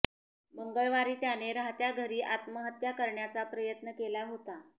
मंगळवारी त्याने राहत्या घरी आत्महत्या करण्याचा प्रयत्न केला होता